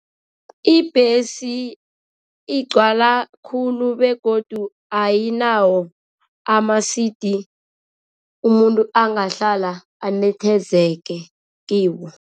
Ibhesi igcwala khulu begodu ayinawo amasidi umuntu angahlala anethezeke kiwo.